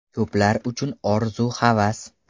Ko‘plar uchun orzu-havas.